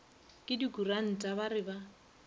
ke dikuranta ba re ba